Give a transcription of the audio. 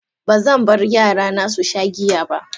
Ba zan bar yarana su sha giya ba.